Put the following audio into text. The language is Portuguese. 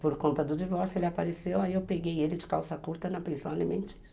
Por conta do divórcio ele apareceu, aí eu peguei ele de calça curta na pensão alimentícia.